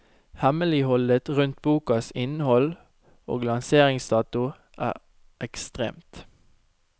Hemmeligholdet rundt bokas innhold og lanseringsdato er ekstremt.